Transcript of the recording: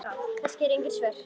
Kannski eru engin svör.